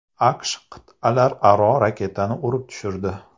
AQSh qit’alararo raketani urib tushirdi .